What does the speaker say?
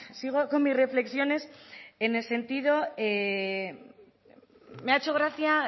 me ha hecho gracia